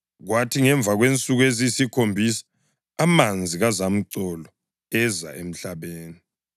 Kwathi ngemva kwensuku eziyisikhombisa amanzi kazamcolo eza emhlabeni.